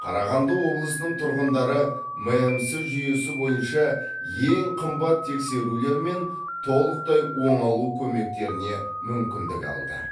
қарағанды облысының тұрғындары мәмс жүйесі бойынша ең қымбат тексерулер мен толықтай оңалу көмектеріне мүмкіндік алды